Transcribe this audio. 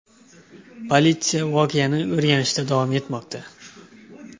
Politsiya voqeani o‘rganishda davom etmoqda.